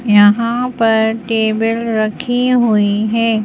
यहां पर टेबल रखी हुई है।